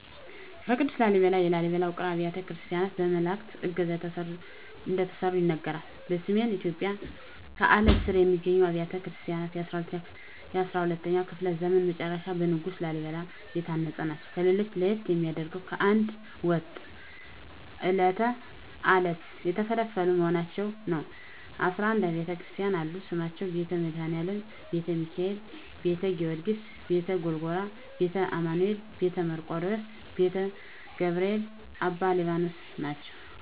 ቅዱስ ላሊበላ የላሊበላ ውቅር አብያተ ክርስቲያናት በመላዕክት ዕገዛ እንደተሠሩ ይነገራል። በሰሜን ኢትዮጵያ ከአለት ስር የሚገኙት አብያተ ክርስቲያናት በ12ኛው ክፍለ ዘመን መጨረሻ በንጉሥ ላሊበላ የታነጹ ናቸው። ከሌሎች ለየት የሚያደርገው ከአንድ ወጥ ዐለት የተፈለፈሉ መሆናቸው ነው 11 አቢያተ ክርስቲያናትም አሉት ስማቸውም ቤተ መድኃኒአለም: ቤተ ሚካኤል: ቤተ ጊዎርጊስ :ቤተ ጎልጎታ :ቤተ አማኑኤል: ቤተ መርቆሪዎስ :ቤተ ገብርኤል: አባ ሊባኖስ ናቸው